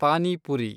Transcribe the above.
pani puri